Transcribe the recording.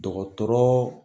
Dɔgɔtɔrɔ